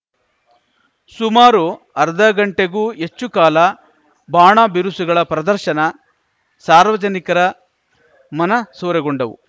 ಸುಮಾರು ಅರ್ಧಗಂಟೆಗೂ ಹೆಚ್ಚು ಕಾಲ ಬಾಣ ಬಿರುಸುಗಳ ಪ್ರದರ್ಶನ ಸಾರ್ವಜನಿಕರ ಮನಸೂರೆಗೊಂಡವು